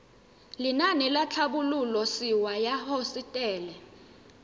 lenaane la tlhabololosewa ya hosetele